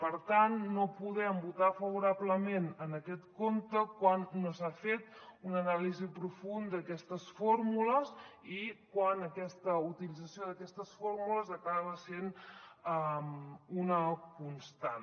per tant no podem votar favorablement en aquest compte quan no s’ha fet una anàlisi profunda d’aquestes fórmules i quan aquesta utilització d’aquestes fórmules acaba sent una constant